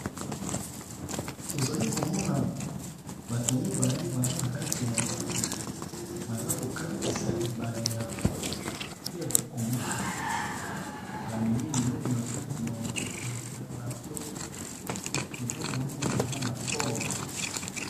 Tozalikomona komona batu mibale baza na kati ya bwato baza KO katisa ebale ya fleuve congo bameni biloko nakati ya mwato.